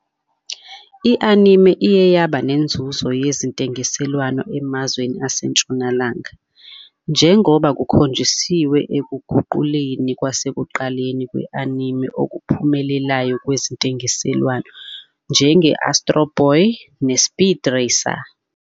I-Anime iye yaba nenzuzo yezentengiselwano emazweni aseNtshonalanga, njengoba kukhonjisiwe ekuguquleni kwasekuqaleni kwe-anime okuphumelelayo kwezentengiselwano, njenge- "Astro Boy" "neSpeed Racer".